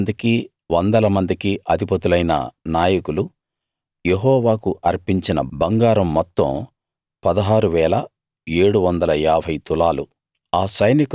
వేలమందికి వందల మందికి అధిపతులైన నాయకులు యెహోవాకు అర్పించిన బంగారం మొత్తం 16 750 తులాలు